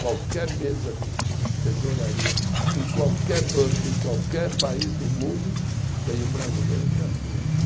Qualquer mesa de de tesouraria, em qualquer banco, em qualquer país do mundo, tem um brasileiro que atua.